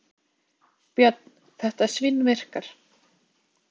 Björn: Þetta svínvirkar?